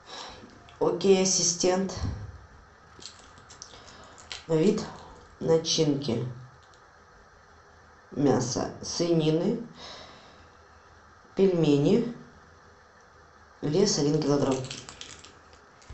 окей ассистент вид начинки мясо свинины пельмени вес один килограмм